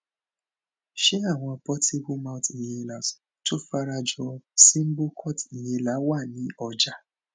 ṣé àwọn portable mouth inhalers tó fara jọ symbocort inhaler wà ni ọjà